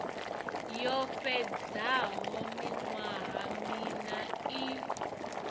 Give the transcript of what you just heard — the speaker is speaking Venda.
yo fhedzaho miṅwaha miṋa i